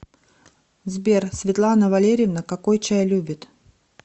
сбер светлана валерьевна какой чай любит